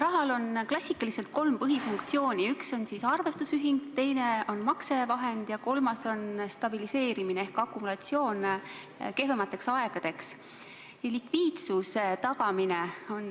Rahal on klassikaliselt kolm põhifunktsiooni: esimene on arvestusühikuks olemine, teine on maksevahendina toimimine ja kolmas on stabiliseerimine ehk akumulatsioon kehvemateks aegadeks.